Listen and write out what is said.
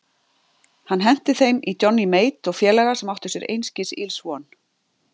Hann henti þeim í Johnny Mate og félaga sem áttu sér einskis ills von.